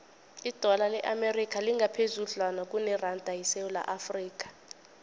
idola le amerika lingaphezudlwana kuneranda yesewula afrika